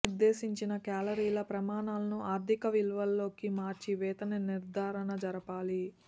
పైన నిర్దేశించిన కేలరీల ప్రమాణాలను ఆర్థిక విలువలోకి మార్చి వేతన నిర్ధారణ జరగాలి